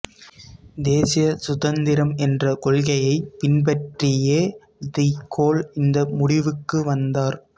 தேசிய சுதந்திரம் என்ற கொள்கையை பின்பற்றியே டி கோல் இந்த முடிவுக்கு வந்தார்